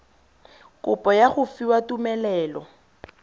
kopo ya go fiwa tumelelo